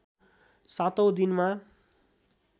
सातौँ दिनमा